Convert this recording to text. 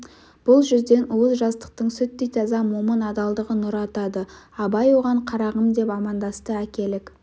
бұл жүзден уыз жастықтың сүттей таза момын адалдығы нұр атады абай оған қарағым деп амандасты әкелік